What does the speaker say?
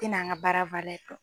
tɛ n'an ka baara dɔn.